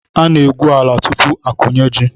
A na-egwu ala tupu akụnye ji.